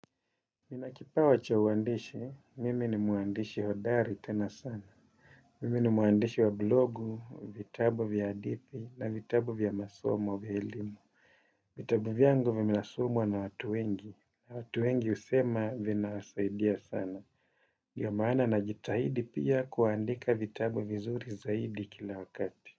Ninakipawa cha uandishi, mimi ni muandishi hodari tena sana. Mimi ni muandishi wa blogu, vitabu vya hadithi na vitabu vya masomo vya elimu. Vitabu vyangu vinasomwa na watu wengi. Watu wengi husema vina saidia sana. Ndiomana na jitahidi pia kuandika vitabu vizuri zaidi kila wakati.